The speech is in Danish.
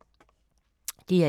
DR1